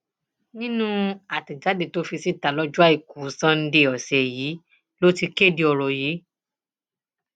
nínú àtẹjáde tó fi síta lọjọ àìkú sanńdé ọsẹ yìí ló ti kéde ọrọ yìí